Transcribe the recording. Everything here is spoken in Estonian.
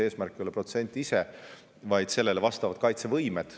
Eesmärk ei ole küll protsent ise, vaid sellele vastavad kaitsevõimed.